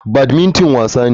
Badmington wasa ne.